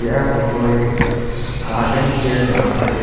यह फोटो एक गार्डन की है जहा पर एक --